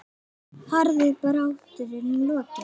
Harðri baráttu er nú lokið.